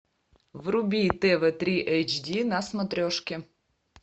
вруби тв три эйч ди на смотрешке